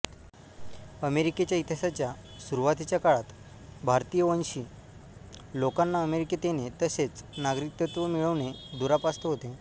अमेरिकेच्या इतिहासाच्या सुरूवातीच्या काळात भारतीयवंशी लोकांना अमेरिकेत येणे तसेच नागरिकत्व मिळणे दुरापास्त होते